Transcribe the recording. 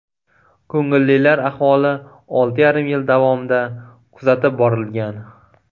Ko‘ngillilar ahvoli olti yarim yil davomida kuzatib borilgan.